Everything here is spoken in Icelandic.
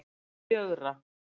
fjögra